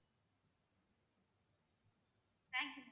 thank you ma~